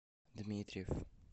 дмитриев